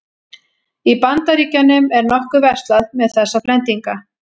Í Bandaríkjunum er nokkuð verslað með þessa blendinga.